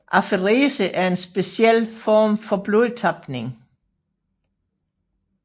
Aferese er en speciel form for blodtapning